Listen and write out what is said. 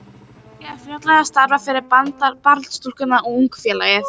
Ég byrjaði fljótlega að starfa fyrir Barnastúkuna og Ungmennafélagið.